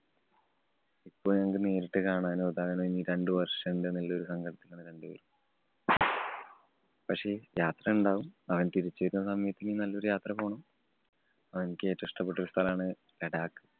ഇപ്പൊ ഞങ്ങക്ക് നേരിട്ട് കാണാനോ, ഇനി രണ്ടു വര്‍ഷം ഉണ്ട് എന്നുള്ള ഒരു സങ്കടത്തിലാണ് രണ്ടുപേരും. പക്ഷേ, യാത്രയുണ്ടാവും. അവന്‍ തിരിച്ചു വരുന്ന സമയത്ത് ഇനി നല്ലൊരു യാത്ര പോണം. അവന്ക്ക് ഏറ്റവും ഇഷ്ടപ്പെട്ട ഒരു സ്ഥലാണ് ലഡാക്ക്.